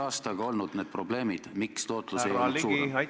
... aasta jooksul olnud need probleemid, et tootlus ei ole olnud suurem?